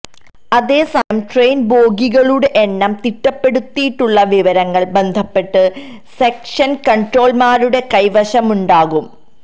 അതേസമയം ട്രെയിന് ബോഗികളുടെ എണ്ണം തിട്ടപ്പെടുത്തിയുള്ള വിവരങ്ങള് ബന്ധപ്പെട്ട സെക്ഷന് കണ്ട്രോളര്മാരുടെ കൈവശമുണ്ടാകും